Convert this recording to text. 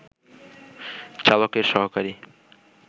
চালকের সহকারী